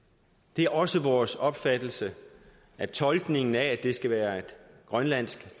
det er også vores opfattelse at tolkningen af at det skal være et grønlandsk